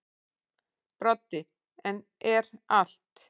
Broddi: En er allt.